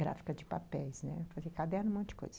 Gráfica de papéis, né, fazer caderno, um monte de coisa.